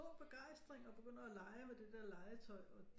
Begejstring og begynder at lege med det der legetøj og det